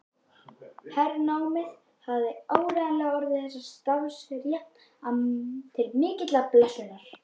Hernámið hafði áreiðanlega orðið þessari starfsstétt til mikillar blessunar.